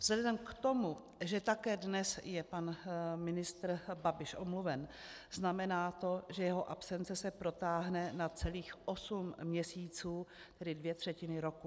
Vzhledem k tomu, že také dnes je pan ministr Babiš omluven, znamená to, že jeho absence se protáhne na celých osm měsíců, tedy dvě třetiny roku.